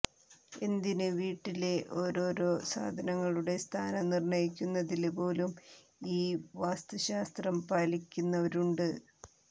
എന്തിന് വീട്ടിലെ ഒാരോരോ സാധനങ്ങളുടെ സ്ഥാനം നിര്ണയിക്കുന്നതില് പോലും ഈ വാസ്തുശാസ്ത്രം പാലിയ്ക്കുന്നവരുണ്ട്